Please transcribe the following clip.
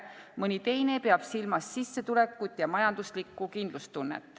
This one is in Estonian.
Mõni teine peab silmas sissetulekut ja majanduslikku kindlustunnet.